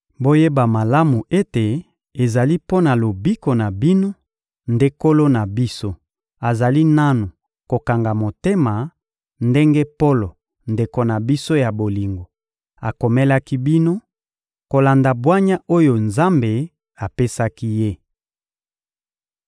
Boyeba malamu ete ezali mpo na lobiko na bino nde Nkolo na biso azali nanu kokanga motema, ndenge Polo, ndeko na biso ya bolingo, akomelaki bino, kolanda bwanya oyo Nzambe apesaki ye.